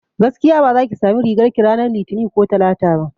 Gaskiya baza ki sami rigar ki ranar litini ko talata ba